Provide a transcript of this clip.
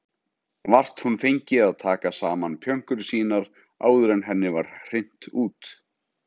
Vart hún fengi að taka saman pjönkur sínar áður en henni var hrint út.